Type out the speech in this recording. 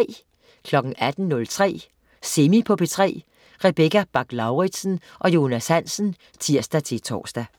18.03 Semi på P3. Rebecca Bach-Lauritsen og Jonas Hansen (tirs-tor)